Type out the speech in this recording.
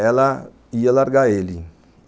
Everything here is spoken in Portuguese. ela ia largar ele.